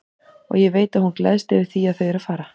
Og ég veit að hún gleðst yfir því að þau eru að fara.